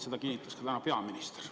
Seda kinnitas täna ka peaminister.